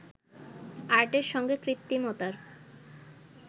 আর্টের সঙ্গে কৃত্রিমতার